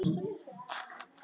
Þið búið í landi guðs.